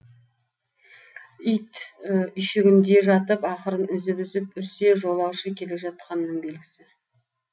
ит үйшігінде жатып ақырын үзіп үзіп үрсе жолаушы келе жатқанның белгісі